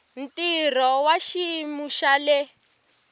ntirho wa xiyimo xa le